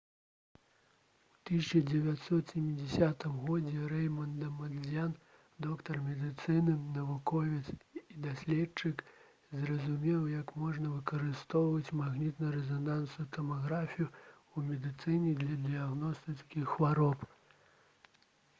у 1970 г рэйманд дамандзьян доктар медыцыны навуковец і даследчык зразумеў як можна выкарыстоўваць магнітна-рэзанансную тамаграфію ў медыцыне для дыягностыкі хвароб